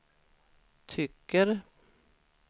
tycker